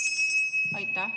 Aitäh!